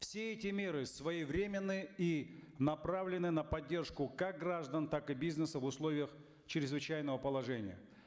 все эти меры своевременны и направлены на поддержку как граждан так и бизнеса в условиях чрезвычайного положения